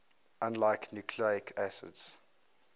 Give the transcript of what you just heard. unlike nucleic acids